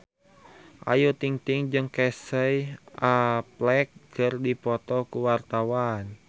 Ayu Ting-ting jeung Casey Affleck keur dipoto ku wartawan